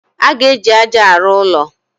A ga-eji aja arụ ụlọ.